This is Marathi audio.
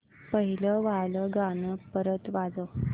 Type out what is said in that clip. पहिलं वालं गाणं परत वाजव